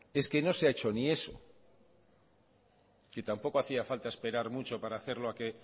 es que no se ha hecho ni eso que tampoco hacía falta esperar mucho para hacerlo a que